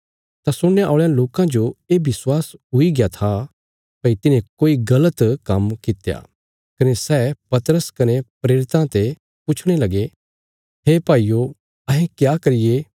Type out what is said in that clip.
तां सुणने औल़यां लोकां जो ये विश्वास हुईग्या था भई तिन्हें कोई गल़त काम्म कित्या कने सै पतरस कने प्रेरितां ते पुछणे लगे हे भाईयो अहें क्या करिये